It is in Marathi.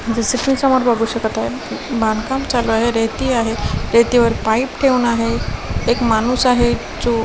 जसं की समोर बघू शकत आहे बांधकाम चालू आहे रेती आहेत रेतीवर पाईप ठेवून आहे एक माणूस आहे जो --